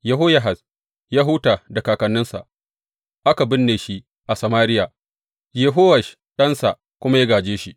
Yehoyahaz ya huta da kakanninsa, aka binne shi a Samariya, Yehowash ɗansa kuma ya gāje shi.